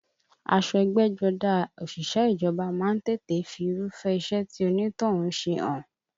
Aṣọ ẹgbẹ́jọdá òṣìṣẹ́ ìjọba má ń tètè fi Irúfẹ́ iṣẹ́ tí onítọ̀hún ń ṣe hàn